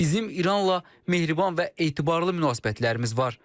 Bizim İranla mehriban və etibarlı münasibətlərimiz var.